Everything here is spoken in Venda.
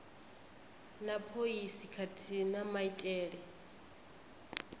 na phoisi khathihi na maitele